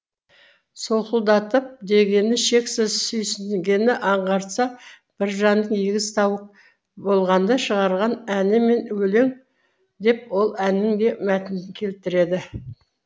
солқылдатып дегені шексіз сүйсінгенін аңғартса біржанның егіз тауық болғанда шығарған әні мен өлең деп ол әннің де мәтінін келтіреді